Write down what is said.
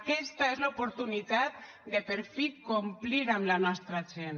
aquesta és l’oportunitat de per fi complir amb la nostra gent